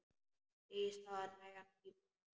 Segist hafa nægan tíma sjálf.